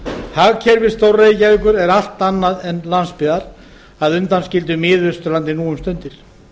hagkerfi stór reykjavíkur er allt annað en landsbyggðar að undanskildu miðausturlandi nú um stundir